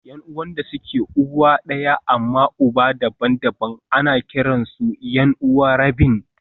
Yan'uwan da suke uwa ɗaya amma uba daban-daban ana kiransu 'yan'uwa rabin